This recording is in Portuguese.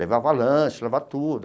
Levava lanche, levava tudo.